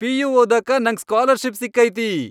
PU. ಓದಾಕ ನಂಗ್ scholarship ಸಿಕ್ಕೈತಿ.